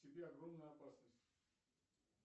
тебе огромная опасность